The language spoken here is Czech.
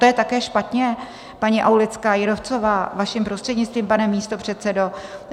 To je také špatně, paní Aulická Jírovcová, vaším prostřednictvím, pane místopředsedo?